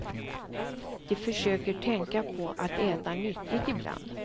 De försöker tänka på att äta nyttigt ibland.